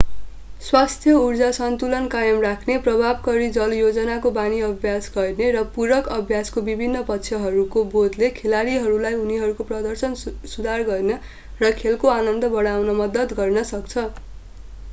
स्वस्थ उर्जा सन्तुलन कायम राख्ने प्रभावकारी जलयोजनको बानी अभ्यास गर्ने र पूरक अभ्यासका विभिन्न पक्षहरूको बोधले खेलाडीहरूलाई उनीहरूको प्रदर्शन सुधार गर्न र खेलको आनन्द बढाउन मद्दत गर्न सक्छ